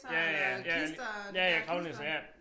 Ja ja ja ja ja kravlenisser ja